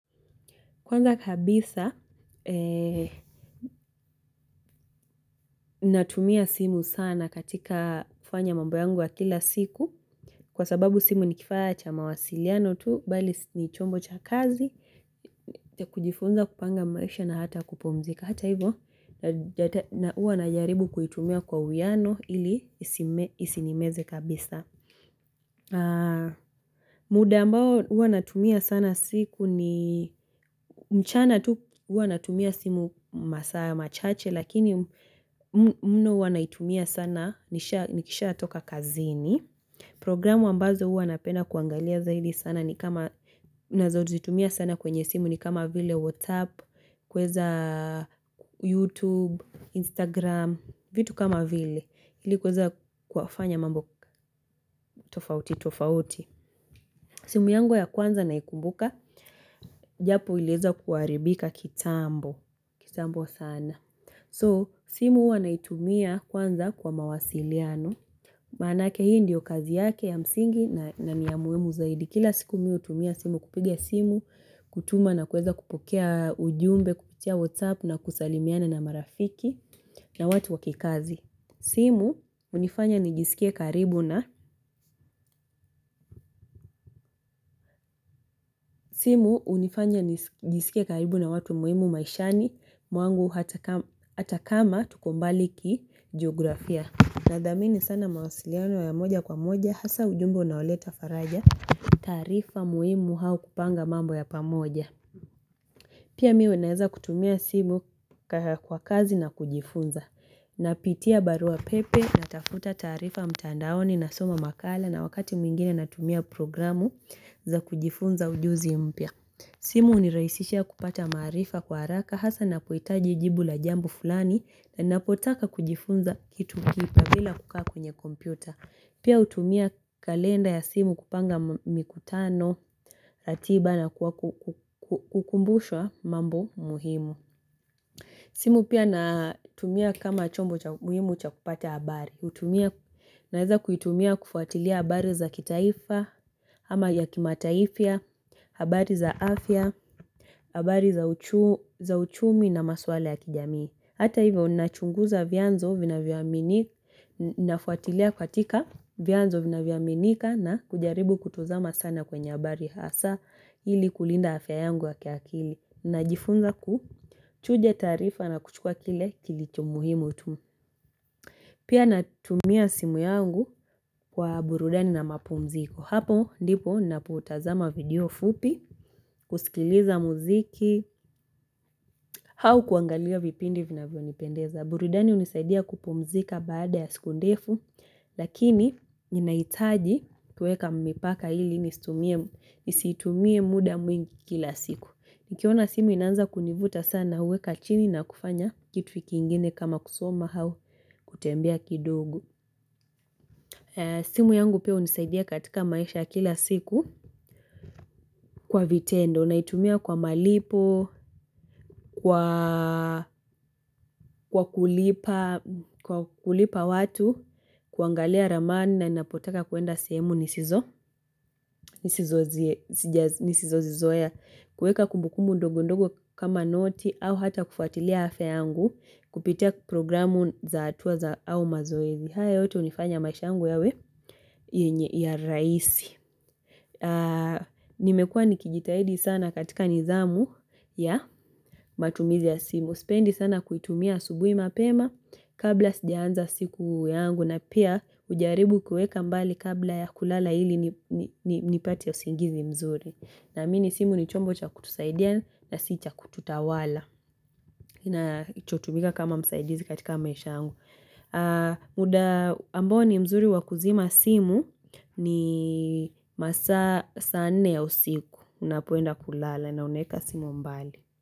Kwanza kabisa natumia simu sana katika kuffanya mambu yangu ya kila siku kwa sababu simu ni kifaa cha mawasiliano tu bali ni chombo cha kazi kujifunza kupanga maisha na hata kupumzika hata hivyo na uwa na jaribu kuitumia kwa uyano ili isinimeze kabisa. Muda ambao uanatumia sana siku ni mchana tu uanatumia simu masaya machache Lakini mno uanatumia sana nishaa Nikisha atoka kazini Programu ambazo huwa napena kuangalia zaidi sana ni kama Nazozitumia sana kwenye simu ni kama vile WhatsApp, kuweza YouTube, Instagram vitu kama vile Ili kweza kufanya mambo tofauti tofauti simu yangu ya kwanza naikumbuka, japo iliweza kuharibika kitambo, kitambo sana. So, simu huwa naitumia kwanza kwa mawasiliano, manake hii ndio kazi yake ya msingi na niya muhimu zaidi. Kila siku mimi hutumia simu kupigia simu, kutuma na kuweza kupokea ujumbe, kupitia WhatsApp na kusalimiana na marafiki na watu wakikazi. Simu unifanya nijiskie karibu na simu hunifanya nijisikie karibu na watu muhimu maishani mwangu hata kama tuko mbali kijografia Nadhamini sana mawasiliano ya moja kwa moja hasa ujumbo unaoleta faraja tarifa muhimu au kupanga mambo ya pamoja Pia mimi huwa naeza kutumia simu kwa kazi na kujifunza na pitia barua pepe na tafuta tarifa mtandaoni na soma makala na wakati mwingine natumia programu za kujifunza ujuzi mpya. Simu hunirahisha kupata marifa kwa haraka hasa na kuhitaji jibu la jambo fulani na ninapotaka kujifunza kitu kipya bila kukaa kwenye kompyuta. Pia utumia kalenda ya simu kupanga mikutano atiba na kukumbushwa mambo muhimu. Simu pia na tumia kama chombo muhimu cha kupata habari hutumia Naweza kuitumia kufuatilia habari za kitaifa ama ya kimataifa, habari za afya, habari za uchumi na maswala ya kijamii. Hata hivyo nachunguza vyanzo vina vyamini nafuatilia katika vyanzo vinavyo aminika na kujaribu kutuzama sana kwenye abari hasa hili kulinda afya yangu wa ki kili. Najifunza ku chuja taarifa na kuchukua kile kilicho muhimu tu. Pia natumia simu yangu kwa burudani na mapumziko. Hapo ndipo napo tazama video fupi, kusikiliza mziki, au kuangalia vipindi vinavyonipendeza. Burudani hunisaidia kupumzika baada ya siku ndefu, lakini ninahitaji kuweka mipaka ili nisitumie muda mwingi kila siku. Nikiona simu inaanza kunivuta sana uweka chini na kufanya kitu kingine kama kusoma au kutembea kidogo. Simu yangu pia unisaidia katika maisha kila siku kwa vitendo. Unaitumia kwa malipo, kwa kulipa, kwa kulipa watu, kuangalia raman na ninapotaka kuenda sehemu nisizo, nisizo zizoya, kuweka kumbukumu ndogo ndogo kama noti au ata kufuatilia afya yangu, kupitia programu za atuwa za au mazoezi. Haya yote hunifanya maisha yangu yawe yenye ya raisi Nimekua nikijitahidi sana katika nithamu ya matumizi ya simu Sipendi sana kuitumia asubui mapema kabla sijaanza siku yangu na pia ujaribu kueka mbali kabla ya kulala ili nipate usingizi mzuri Naamini simu ni chombo cha kutusaidia na si cha kututawala Nachotumika kama msaidizi katika maish yangu mda ambao mzuri wa kuzima simu ni masaa sane ya usiku unapo enda kulala na uneweka simu mbali.